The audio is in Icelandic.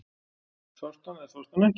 Sástu hann eða sástu hann ekki?